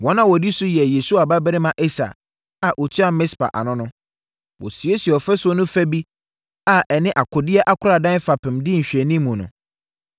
Wɔn a wɔdi wɔn so yɛ Yesua babarima Eser a ɔtua Mispa ano no. Wɔsiesiee ɔfasuo no fa bi a ɛne akodeɛ akoradan fapem di nhwɛanimu no.